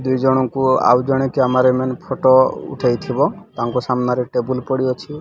ଦି ଜଣକୁ ଆଉ ଜଣେ କ୍ୟାମେରା ମ୍ୟାନ ଫଟୋ ଉଠେଇଥିବ ତାଙ୍କ ସାମ୍ନାରେ ଟେବୁଲ ପଡ଼ି ଅଛି।